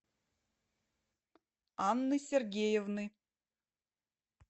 анны сергеевны